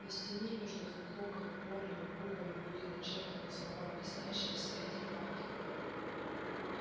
на стене между двух окон огромными буквами были начертаны слова блестящие в свете факелов